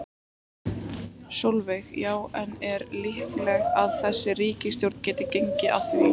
Sólveig: Já, en er líklegt að þessi ríkisstjórn geti gengið að því?